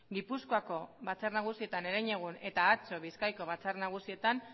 gipuzkoako batzar nagusietan herenegun eta atzo bizkaiko batzar nagusietan